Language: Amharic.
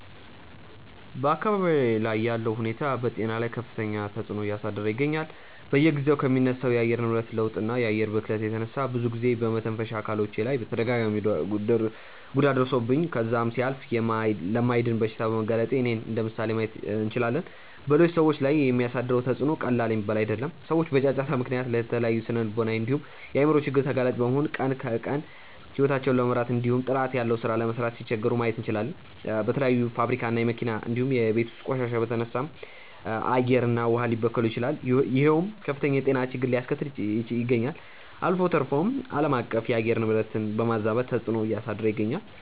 በአካባብዬ ላይ ያለው ሁኔታ በጤና ላይ ከፍተኛ ተፅዕኖ እያሳደረ ይገኛል። በየጊዜው ከሚነሳው የአየር ንብረት ለውጥ እና የአየር ብክለት የተነሳ ብዙ ጊዜ በመተንፈሻ አካሎቼ ላይ ተደጋጋሚ ጉዳት ደርሶብኝ ከዛም ሲያልፍ ለማይድን በሽታ በመጋለጤ እኔን እንደምሳሌ ማየት እንችላለን። በሌሎች ሰዎች ላይም የሚያሳድረው ተፅዕኖ ቀላል የሚባል አይደለም። ሰዎች በጫጫታ ምክንያት ለተለያዩ ስነልቦናዊ እንዲሁም የአይምሮ ችግር ተጋላጭ በመሆን ቀን ከቀን ሂወታቸውን ለመምራት እንዲሁም ጥራት ያለው ሥራ ለመስራት ሲቸገሩ ማየት እንችላለን። በተለያዩ የፋብሪካ እና የመኪና እንዲሁም የቤት ውስጥ ቆሻሻ የተነሳም አየር እና ውሃ ሊበከሉ ይችላሉ ይሄውም ከፍተኛ የጤና ችግርን አያስከተለ ይገኛል። አልፎ ተርፎም አለማቀፍ የአየር ንብረትን በማዛባት ተፅዕኖ እያሳደረ ይገኛል።